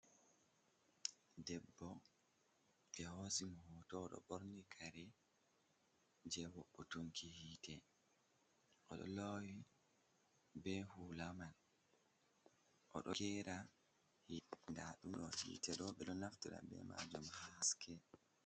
Debbo ɓe hosimo hoto ɗo ɓorni kare je woɓɓotunki hite, oɗo lowi be hula man, oɗo kera nda ɗum ɗo hite ɗo ɓeɗo naftara be majum haske.